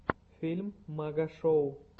фильм магашоу